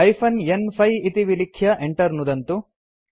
hyphen न्5 इति विलिख्य enter नुदन्तु